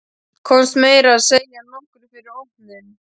Komst meira að segja nokkru fyrir opnun.